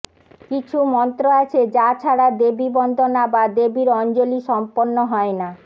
কিছু মন্ত্র আছে যা ছাড়া দেবী বন্দনা বা দেবীর অঞ্জলি সম্পন্ন হয় না